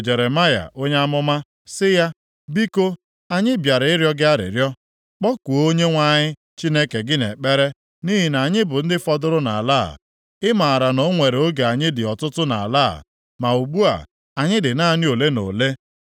Jeremaya onye amụma sị ya, “Biko, anyị bịara ịrịọ gị arịrịọ. Kpọkuo Onyenwe anyị Chineke gị nʼekpere nʼihi anyị bụ ndị fọdụrụ nʼala a. Ị maara na o nwere oge anyị dị ọtụtụ nʼala a, ma ugbu a anyị dị naanị ole na ole.